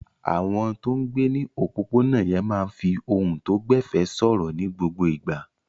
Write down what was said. Àwọn tó ń gbé ní òpópónà yẹn máa ń fi ohùn tó gbẹ̀fẹ̀ sọ̀rọ̀ ní gbogbo ìgbà.